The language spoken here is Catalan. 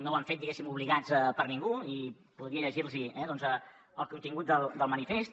no ho han fet diguéssim obligats per ningú i podria llegir los el contingut del manifest